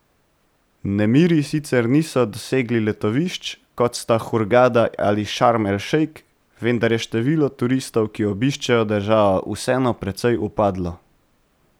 Nemiri sicer niso dosegli letovišč, kot sta Hurgada ali Šarm el Šejk, vendar je število turistov, ki obiščejo državo, vseeno precej upadlo.